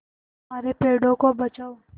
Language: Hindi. हमारे पेड़ों को बचाओ